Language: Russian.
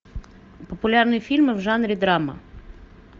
популярные фильмы в жанре драма